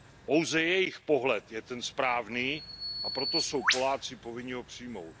Pouze jejich pohled je ten správný, a proto jsou Poláci povinni ho přijmout.